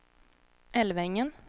Älvängen